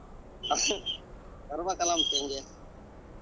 ಬರಬೇಕಾಲಾ